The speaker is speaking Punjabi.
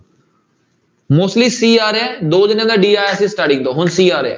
Mostly c ਆ ਰਿਹਾ ਹੈ ਦੋ ਜਾਣਿਆ ਦਾ d ਆਇਆ ਸੀ starting ਤੋਂ ਹੁਣ c ਆ ਰਿਹਾ ਹੈ।